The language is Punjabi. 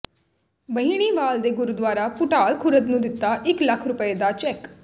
ਬਹਿਣੀਵਾਲ ਨੇ ਗੁਰਦੁਆਰਾ ਭੁਟਾਲ ਖੁਰਦ ਨੂੰ ਦਿੱਤਾ ਇਕ ਲੱਖ ਰੁਪਏ ਦਾ ਚੈੱਕ